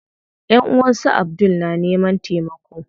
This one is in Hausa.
Ƴanʼuwan su Abdul na neman taimako.